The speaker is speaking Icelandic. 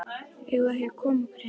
Eigum við ekki að koma okkur héðan?